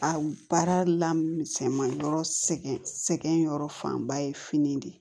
A baara la misɛnman yɔrɔ sɛgɛn sɛgɛn yɔrɔ fanba ye fini de